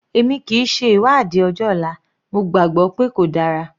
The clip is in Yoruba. Èmi kìí ṣe ìwádìí ọjọ́ ọ̀la, mo gbàgbọ́ pé kò dára.